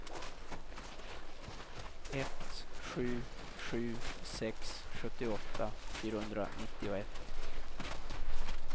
ett sju sju sex sjuttioåtta fyrahundranittioett